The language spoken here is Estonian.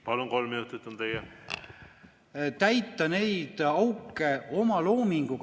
Palun, kolm minutit on teie!